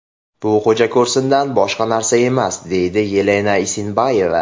Bu xo‘jako‘rsindan boshqa narsa emas”, deydi Yelena Isinbayeva.